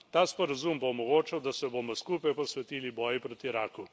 Ta sporazum bo omogočal, da se bomo skupaj posvetili boju proti raku.